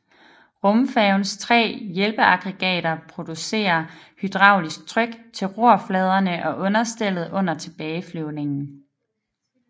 Rumfærgens tre hjælpeaggregater producerer hydraulisk tryk til rorfladerne og understellet under tilbageflyvningen